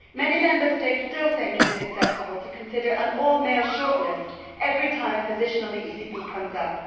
Many Member States still think it is acceptable to consider an all male shortlist every time a position on the ECB comes up.